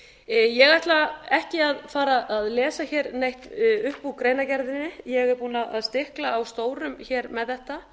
húsa ég ætla ekki að fara að lesa hér neitt upp úr greinargerðinni ég er búin að stikla á stóru hér með þetta